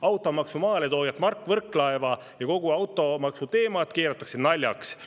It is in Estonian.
Automaksu maaletooja Mart Võrklaev ja kogu automaksuteema keeratakse naljaks.